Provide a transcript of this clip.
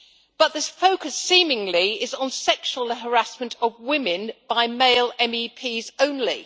But the focus, seemingly, is on sexual harassment of women by male MEPs only.